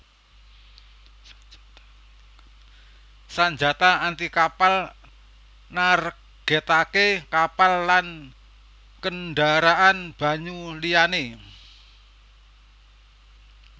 Sanjata anti kapal nargètaké kapal lan kendharaan banyu liyané